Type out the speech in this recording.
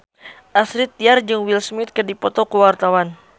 Astrid Tiar jeung Will Smith keur dipoto ku wartawan